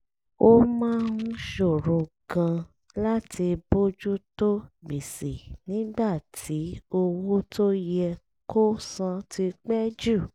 ó máa ń ṣòro gan-an láti bójú tó gbèsè nígbà tí owó tó yẹ kó san ti pẹ́ jù